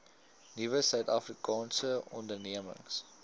nuwe suidafrikaanse ondernemings